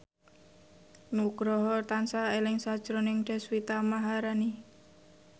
Nugroho tansah eling sakjroning Deswita Maharani